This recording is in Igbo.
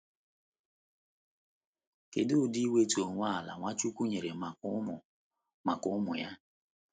Kedu udi iwetu onwe ala Nwachukwu nyere maka ụmụ maka ụmụ ya